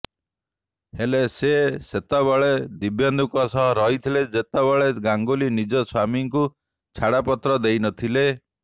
ହେଲେ ସେ ଯେତେବେଳେ ଦିବ୍ୟେନ୍ଦୁଙ୍କ ସହ ରହୁଥିଲେ ସେତେବେଳେ ଗାଙ୍ଗୁଲି ନିଜ ସ୍ୱାମୀଙ୍କୁ ଛାଡପତ୍ର ଦେଇନଥିଲେ